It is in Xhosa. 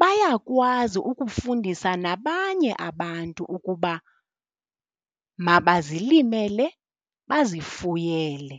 bayakwazi ukufundisa nabanye abantu ukuba mabazilimele bazifuyele.